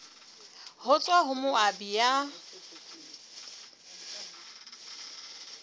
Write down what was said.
ho tswa ho moabi ya